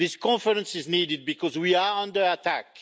This conference is needed because we are under attack.